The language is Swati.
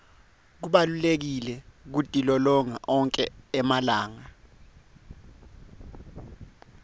kubalulekile kutilolonga onkhe emalanga